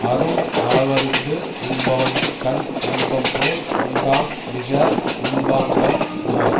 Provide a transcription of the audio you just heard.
அறும் அளவறிந்து உண்பவன்கண் இன்பம்போல் உண்டாம் மிக உண்பான்கண் நோய்